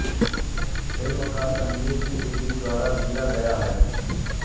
film का संगीत T Series द्वारा दिया गया है